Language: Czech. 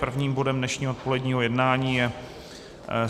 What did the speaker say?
Prvním bodem dnešního odpoledního jednání je